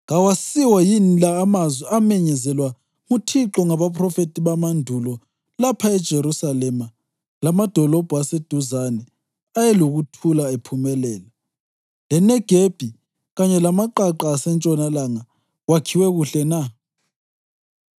Kawasiwo yini la amazwi amenyezelwa nguThixo ngabaphrofethi bamandulo lapho iJerusalema lamadolobho aseduzane ayelokuthula ephumelela, leNegebi kanye lamaqaqa asentshonalanga kwakhiwe kuhle na?’ ”